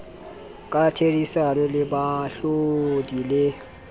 ka therisano le baahlodi le